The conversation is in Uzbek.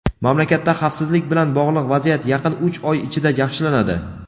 Mamlakatda xavfsizlik bilan bog‘liq vaziyat yaqin uch oy ichida yaxshilanadi.